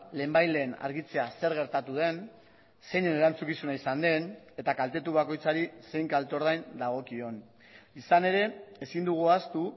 lehenbailehen argitzea zer gertatu den zeinen erantzukizuna izan den eta kaltetu bakoitzari zein kalte ordain dagokion izan ere ezin dugu ahaztu